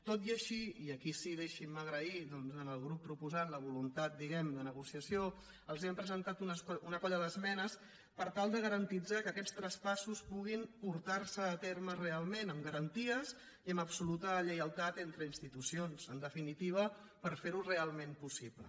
tot i així i aquí sí que deixin·me agrair al grup pro·posant la voluntat diguem·ne de negociació els hem presentat una colla d’esmenes per tal de garantir que aquests traspassos puguin portar·se a terme real·ment amb garanties i amb absoluta lleialtat entre ins·titucions en definitiva per fer·ho realment possible